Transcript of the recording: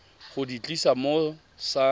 go di tlisa mo sa